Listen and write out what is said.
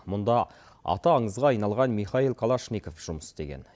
мұнда аты аңызға айналған михаил калашников жұмыс істеген